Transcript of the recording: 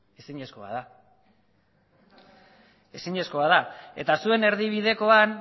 ezinezkoa da eta zuen erdibidekoan